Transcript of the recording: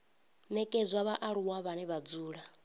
nekedzwa vhaaluwa vhane vha dzula